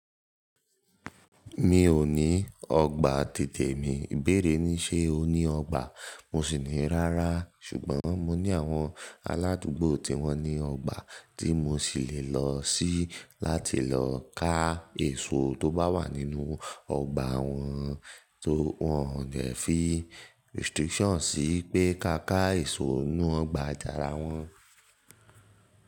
Mi ò ní ọgbà títè mi. Ibeẹ́rẹ̀ ní ṣe o ní ọgbà, mo sì ní rárá ṣùgbọ́n mo ní àwọn aládùúgbò tí wọ́n ní ọgbà tí mo sì lè lọ sí láti lọ ká èso tó bá wà nínú ọgbà wọn tó wọn ò dẹ́ fí restriction sí pé ká ká èso inú ọgbà tàrà wọn.